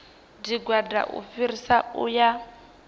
tshigwada u fhirisa u ya